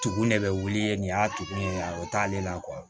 Tugu ne bɛ wuli yen nin y'a tugun o t'ale la